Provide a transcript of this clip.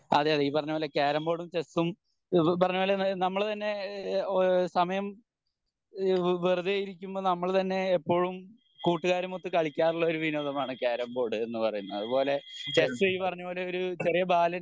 അതെയതെ ഈ പറഞ്ഞ പോലെ കാരംബോർഡും ചെസ്സും ഈ പറഞ്ഞപോലെ നമ്മള് തന്നെ ഈഹ് സമയം ഈഹ് വെറുതെയിരിക്കുമ്പോ നമ്മൾ തന്നെ എപ്പോഴും കൂട്ടുകാരുമൊത്ത് കളിക്കാരില്ല ഒരു വിനോദമാണ് കാരംബോർഡ് എന്ന് പറയുന്നേ അതുപോലെ ചെസ്സ് ഈ പറഞ്ഞ പോലെ ഒരു ചെറിയ ബാലൻ